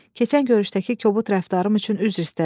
Keçən görüşdəki kobud rəftarım üçün üzr istədim.